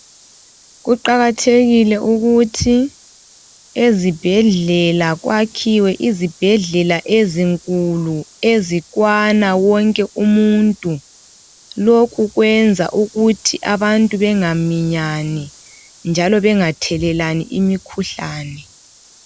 Kuqakathekile ukuthi ezibhedlela kwakhiwe izibhedlela ezinkulu ezikwana wonke umuntu lokhu kwenza ukuthi abantu bengaminyani njalo bengathelelani imikhuhlane.